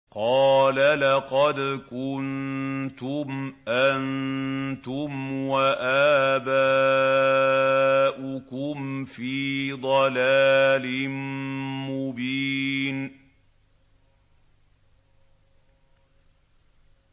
قَالَ لَقَدْ كُنتُمْ أَنتُمْ وَآبَاؤُكُمْ فِي ضَلَالٍ مُّبِينٍ